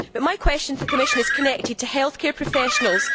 My question to the Commission is connected to health care professionals.